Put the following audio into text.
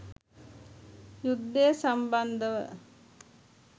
යුද්ධය සම්බන්ධව